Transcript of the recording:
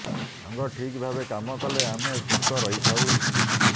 ଅଙ୍ଗ ଠିକ୍ ଭାବେ କାମ କଲେ ଆମେ ସୁସ୍ଥ ରହିଥାଉ